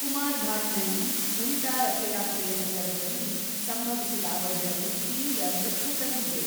ಕುಮಾರ್ ಘಾಟ್ ನಲ್ಲಿ ಉಲ್ಟಾ ರಥಯಾತ್ರೆಯ ಸಂದರ್ಭದಲ್ಲಿ ಸಂಭವಿಸಿದ ಅವಘಡವು ತೀವ್ರ ದುಃಖ ತಂದಿದೆ.